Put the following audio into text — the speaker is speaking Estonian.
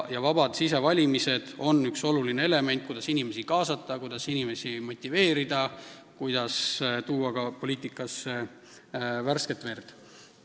Vabad sisevalimised on üks oluline võimalus inimesi kaasata ja inimesi motiveerida, et tuua poliitikasse värsket verd.